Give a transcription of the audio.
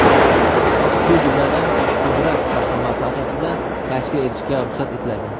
shu jumladan pudrat shartnomasi asosida tashkil etishga ruxsat etiladi.